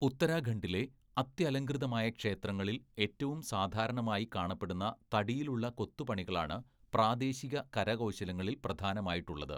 ഉത്തരാഖണ്ഡിലെ അത്യലംകൃതമായ ക്ഷേത്രങ്ങളിൽ ഏറ്റവും സാധാരണമായി കാണപ്പെടുന്ന തടിയിലുള്ള കൊത്തുപണികളാണ് പ്രാദേശിക കരകൗശലങ്ങളില്‍ പ്രധാനമായിട്ടുള്ളത്.